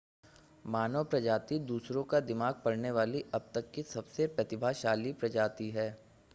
मानव प्रजाति दूसरों का दिमाग पढ़ने वाली अब तक की सबसे प्रतिभाशाली प्रजाति है